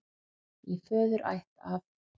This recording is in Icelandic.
Í föðurætt af